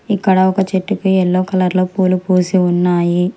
ఇక్కడ ఒక చెట్టుపై ఎల్లో కలర్ లో పూలు పూసి ఉన్నాయి.